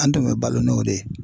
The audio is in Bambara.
An tun bɛ balo n'o de ye .